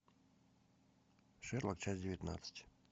шерлок часть девятнадцать